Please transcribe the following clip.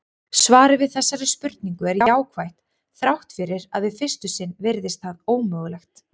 Svarið við þessari spurningu er jákvætt þrátt fyrir að við fyrstu sýn virðist það ómögulegt.